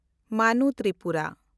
Manu Tripura